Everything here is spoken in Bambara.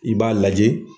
I b'a lajɛ